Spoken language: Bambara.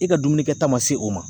I ka dumuni kɛta ma se o ma